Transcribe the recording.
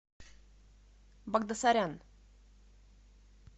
багдасарян